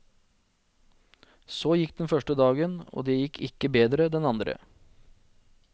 Så gikk det den første dagen, og det gikk ikke bedre den andre.